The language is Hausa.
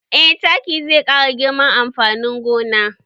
Eh taki zai ƙara girman amfanin gona